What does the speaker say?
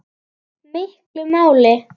miklu máli.